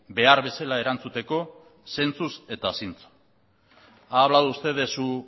behar bezala erantzuteko zentzuz eta zintzo ha hablado usted de su